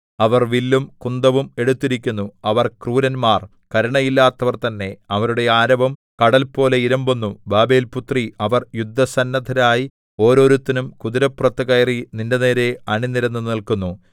അവർ വില്ലും കുന്തവും എടുത്തിരിക്കുന്നു അവർ ക്രൂരന്മാർ കരുണയില്ലാത്തവർ തന്നെ അവരുടെ ആരവം കടൽപോലെ ഇരമ്പുന്നു ബാബേൽപുത്രീ അവർ യുദ്ധസന്നദ്ധരായി ഓരോരുത്തനും കുതിരപ്പുറത്തു കയറി നിന്റെനേരെ അണിനിരന്നു നില്ക്കുന്നു